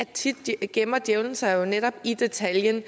tit gemmer djævelen sig jo netop i detaljen